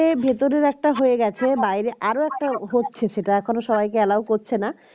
complete বলতে ভেতরের একটা হয়ে গেছে বাইরে আরও একটা হচ্ছে সেটা এখন সবাইকে allow করছে না